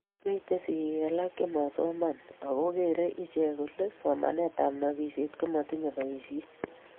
mitei sigiik alak chemasomanyoo ago gerei iche kole somanetab nobishet komatinyei boishet